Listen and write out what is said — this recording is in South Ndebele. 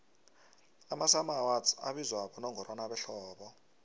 amasummer awards abizwa bonongorwana behlobo